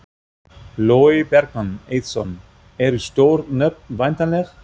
Logi Bergmann Eiðsson: Eru stór nöfn væntanleg?